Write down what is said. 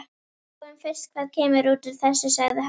Sjáum fyrst hvað kemur út úr þessu, sagði hann.